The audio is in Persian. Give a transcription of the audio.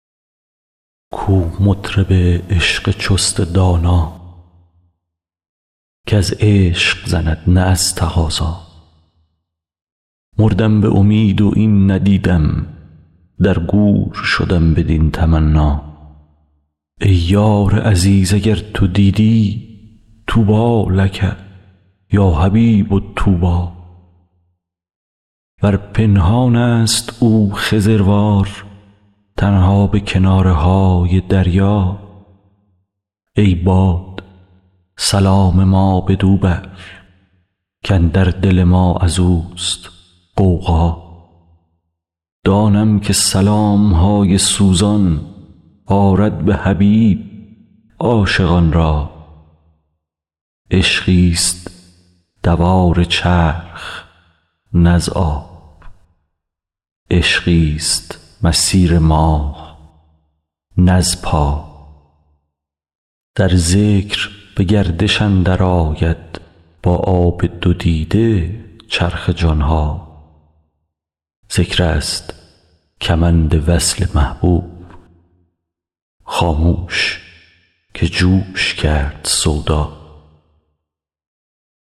کو مطرب عشق چست دانا کز عشق زند نه از تقاضا مردم به امید و این ندیدم در گور شدم بدین تمنا ای یار عزیز اگر تو دیدی طوبی لک یا حبیب طوبی ور پنهانست او خضروار تنها به کناره های دریا ای باد سلام ما بدو بر کاندر دل ما از اوست غوغا دانم که سلام های سوزان آرد به حبیب عاشقان را عشقیست دوار چرخ نه از آب عشقیست مسیر ماه نه از پا در ذکر به گردش اندرآید با آب دو دیده چرخ جان ها ذکرست کمند وصل محبوب خاموش که جوش کرد سودا